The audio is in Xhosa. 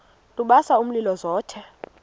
lubasa umlilo zothe